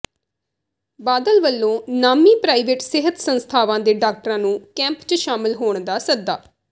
ਬਾਦਲ ਵੱਲੋਂ ਨਾਮੀਂ ਪ੍ਰਾਈਵੇਟ ਸਿਹਤ ਸੰਸਥਾਵਾਂ ਦੇ ਡਾਕਟਰਾਂ ਨੂੰ ਕੈਂਪ ਚ ਸ਼ਾਮਲ ਹੋਣ ਦਾ ਸੱਦਾ